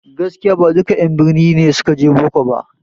Gaskiya ba duka en birni ne suka je boko ba